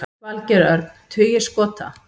Valgeir Örn: Tugir skota?